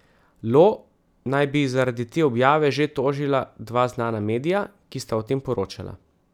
Lo naj bi zaradi te objave že tožila dva znana medija, ki sta o tem poročala.